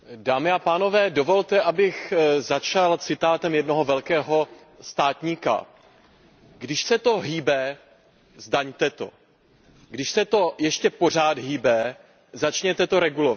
Pane předsedající, dovolte, abych začal citátem jednoho velkého státníka Když se to hýbe, zdaňte to. Když se to ještě pořád hýbe, začněte to regulovat.